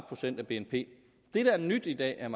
procent af bnp det der er nyt i dag er